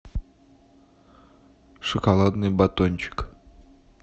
шоколадный батончик